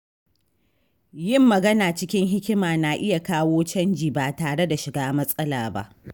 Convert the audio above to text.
Yin magana cikin hikima na iya kawo canji ba tare da shiga matsala ba.